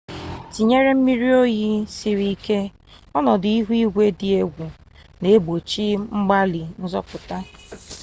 tinyere mmiri oyi siri ike ọnọdụ ihu igwe dị egwu na egbochi mgbalị nzọpụta